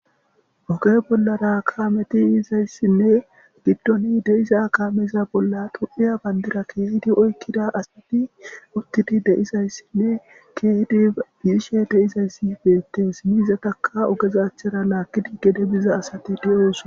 oge bollara kaameti yizayssinne giddoni deiza kaameza bolla du7iya bandira keehidi oykkida asati uttidi deizayssinne keehdi biishe deizayssi beettees miizataka ogezachchara laakkidi gede biza asati diyo7osona.